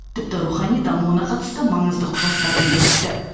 тіпті рухани дамуына қатысты маңызды құжаттарды бекітті